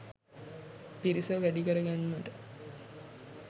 පිරිස වැඩි කර ගැන්මට